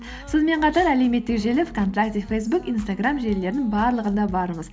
сонымен қатар әлеуметтік желі вконтакте фейсбук инстаграм желілерінің барлығында бармыз